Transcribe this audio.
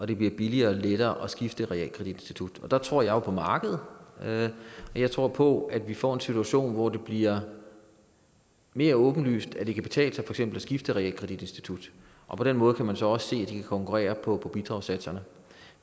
det bliver billigere og lettere at skifte realkreditinstitut og der tror jeg jo på markedet og jeg tror på at vi får en situation hvor det bliver mere åbenlyst at eksempel kan betale sig at skifte realkreditinstitut og på den måde kan man så også se kan konkurrere på bidragssatserne